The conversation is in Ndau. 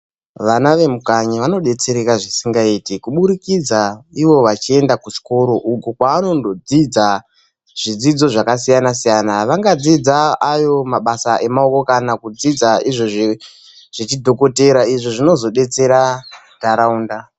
Vana vemukanyi vanobetsereka zvisingaite kubudikidza ivo vachienda kuzvikoro, uko kwavanondodzidza zvidzidzo zvakasiyana-siyana, vanga dzidza ayo mabasa emaoko kana kudzidza nezvechidhokotera izvo zvinozobetsera nharaunda.